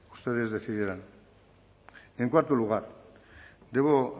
ustedes decidirán en cuarto lugar debo